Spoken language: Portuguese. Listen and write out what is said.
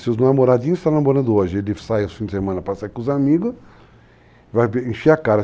Se os namoradinhos estão namorando hoje e ele sai no fim de semana para sair com os amigos, vai encher a cara.